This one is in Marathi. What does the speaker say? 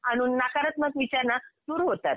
आणून नकारात्मक विचार ना सुरु होतात.